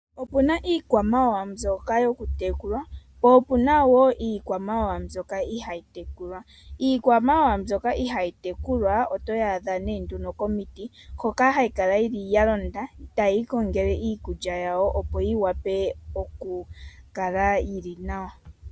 Opuna iikwamawawa mbyoka yoku tekulwa, po opuna iikwamawawa mbyoka ihayi tekulwa. Iikwamawawa mbyoka ihaa yi tekulwa oto yi adha nee nduno komiti, hoka hayi kala yili ya londa tayi kongele iikulya yawo opo yi wape oku kala yili nawa.